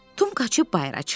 Tom qaçıb bayıra çıxdı.